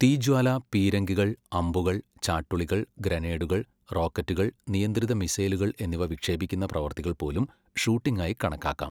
തീജ്വാല, പീരങ്കികൾ, അമ്പുകൾ, ചാട്ടുളികൾ, ഗ്രനേഡുകൾ, റോക്കറ്റുകൾ, നിയന്ത്രിത മിസൈലുകൾ എന്നിവ വിക്ഷേപിക്കുന്ന പ്രവൃത്തികൾ പോലും ഷൂട്ടിംഗ് ആയി കണക്കാക്കാം.